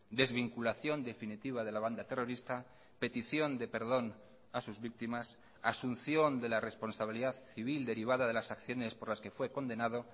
desvinculación definitiva de la banda terrorista petición de perdón a sus víctimas asunción de la responsabilidad civil derivada de las acciones por las que fue condenado